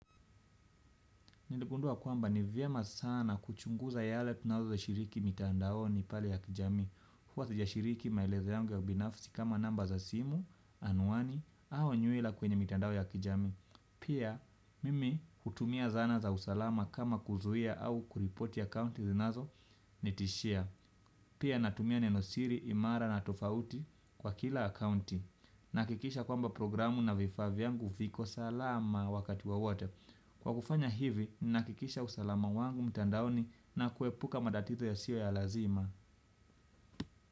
Niligundua kwamba ni vyema sana kuchunguza yale tunazo shiriki mitandaoni pale ya kijamii. Huwa sijashiriki maelezo yangu ya binafsi kama namba za simu anwani au nywila kweny mitandao ya kijamii pia mimi hutumia zana za usala kama kuzuia au kuripoti akaunti zinazo nitishia pia natumia neno siri, imara na tofauti kwa kila akaunti. Nahakikisha kwamba programu na vifaa yangu viko salama wakati wowote. Kwa kufanya hivi, ni nakikisha usalama wangu mtandaoni na kuepuka matatizo yasiyo ya lazima.